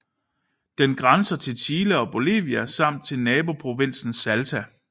Den grænser til Chile og Bolivia samt til naboprovinsen Salta